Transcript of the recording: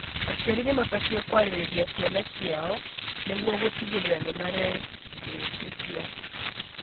aciari nĩmabatie kwarĩria ciana ciao nĩguo gũtigĩrĩra nĩmareĩtĩkia.